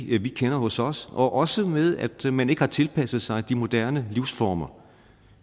det vi kender hos os og også med at man ikke har tilpasset sig de moderne livsformer